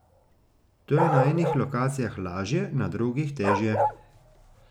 To je na enih lokacijah lažje, na drugih težje.